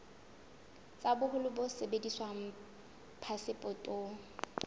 tsa boholo bo sebediswang phasepotong